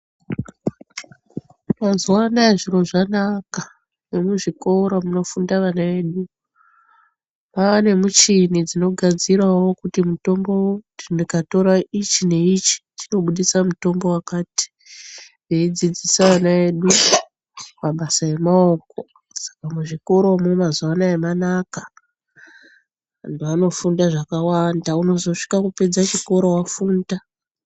Mazuwa ano aya zviro zvanaka Nomuzvikoro munofunda ana edu maanemichini dzinnogadzirawo kutimitombo ukatora ichi neichi chinobudisa mitombo wakati veidzidzisa ana edu mabasa emaoko Muzvikoromo mazuwa ano manaka antu anofunda zvakawanda anozosvika kupedza chikoro afunda.